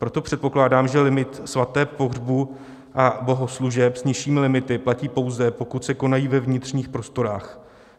Proto předpokládám, že limit svateb, pohřbů a bohoslužeb s nižšími limity, platí pouze pokud se konají ve vnitřních prostorách.